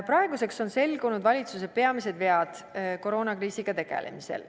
Praeguseks on selgunud valitsuse peamised vead koroonakriisiga tegelemisel.